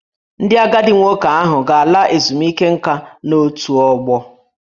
Ndị agadi nwoke ahụ ga-ala ezumike nka n'otù ọgbọ